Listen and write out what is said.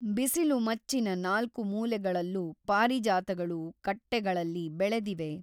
ಬಿಸಿಲುಮಚ್ಚಿನ ನಾಲ್ಕು ಮೂಲೆಗಳಲ್ಲು ಪಾರಿಜಾತಗಳು ಕಟ್ಟೆಗಳಲ್ಲಿ ಬೆಳೆದಿವೆ.